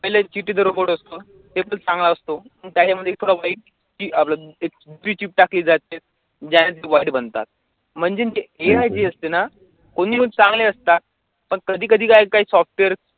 पहिले चिट्टि चा robot असतो तो एकच चांगला असतो, त्याच्यामधी थोडं वाईट key आपलं एक दुसरी chip टाकली जाते बनतात, म्हणजे ARD असते ना कोणी चांगले असता, पण कधी कधी काय software